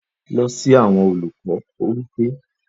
Lọ si awọn Oluko! ó wí pé